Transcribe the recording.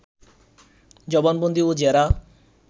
জবানবন্দি ও জেরা